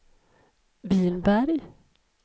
Vinberg